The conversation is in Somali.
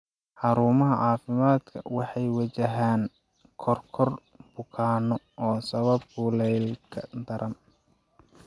Xarumaha caafimaadka waxay wajahaan koror bukaanno oo sababa kuleylka daran.